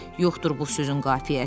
Yoxdur bu sözün qafiyəsi.